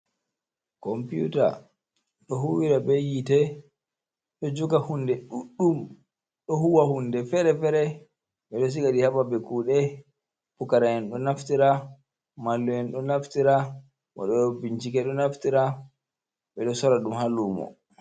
Compyuta ɗo huwira be yitee ɗo joga hunde ɗuɗɗum, ɗo huwa hunde fere fere, ɓeɗo siga ɗi ha ba be kuɗe, pucaraen ɗo naftira, mallum en ɗo naftira waɗo ɓe bincike ɗo naftira, ɓeɗo sora ɗum ha lumo.